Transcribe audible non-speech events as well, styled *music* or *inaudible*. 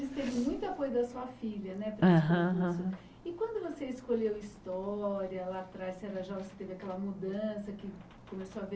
Você viu muita coisa da sua filha é né Aham E quando você escolheu história, lá atrás, você *unintelligible* teve aquela mudança, que começou a ver